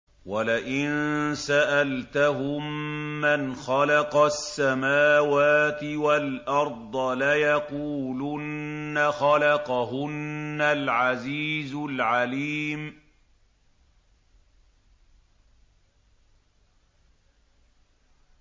وَلَئِن سَأَلْتَهُم مَّنْ خَلَقَ السَّمَاوَاتِ وَالْأَرْضَ لَيَقُولُنَّ خَلَقَهُنَّ الْعَزِيزُ الْعَلِيمُ